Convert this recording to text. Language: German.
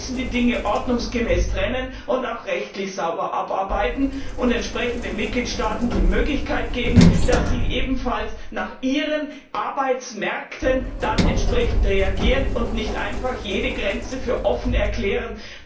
Wir müssen die Dinge ordnungsgemäß trennen und auch rechtlich sauber abarbeiten und den Mitgliedstaaten die Möglichkeit geben, dass sie ebenfalls nach ihren Arbeitsmärkten entsprechend reagieren und nicht einfach jede Grenze für offen erklären.